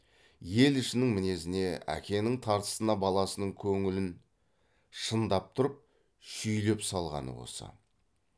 ел ішінің мінезіне әкенің тартысына баласының көңілін шындап тұрып шүйлеп салғаны осы